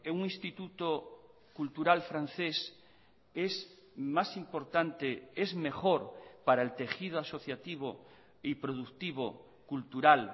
un instituto cultural francés es más importante es mejor para el tejido asociativo y productivo cultural